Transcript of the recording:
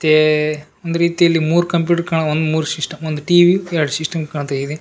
ತ್ತೇ ಒಂದ್ ರೀತಿಯಲ್ಲಿ ಮೂರ್ ಕಂಪ್ಯೂಟರ್ ಕಾಣವ್ ಒಂದ್ ಮೂರ್ ಸಿಸ್ಟಮ್ ಒಂದ್ ಟಿ_ವಿ ಎರಡ್ ಸಿಸ್ಟಮ್ ಕಾಣ್ತಾಯಿದೆ.